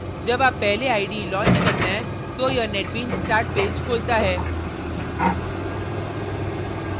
जब आप पहले ide launch करते हैं तो यह netbeans start पेज खोलता है